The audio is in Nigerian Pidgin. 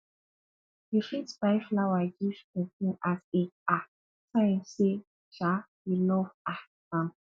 you fit buy flower give prson as a um sign sey um you love um am